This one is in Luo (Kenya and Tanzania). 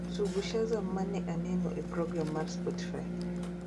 Tugo shazaam ma ne aneno e program mar Spotify